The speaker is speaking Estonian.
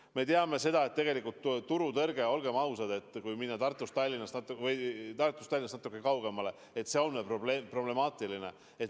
Me teame seda, et tegelikult turutõrge, olgem ausad, kui minna Tartust ja Tallinnast natuke kaugemale, on problemaatiline.